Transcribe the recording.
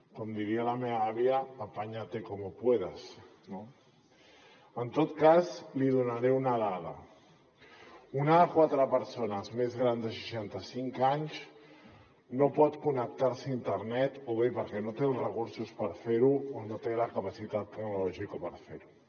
com diria la meva àvia apáñate como puedas no en tot cas li donaré una dada una de cada quatre persones més grans de seixanta cinc anys no pot connectar se a internet o bé perquè no té els recursos per fer ho o bé perquè no té la capacitat tecnològica per fer ho